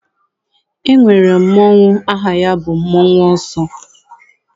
E nwere mmọnwụ aha ya bụ mmọnwụ ọsọ.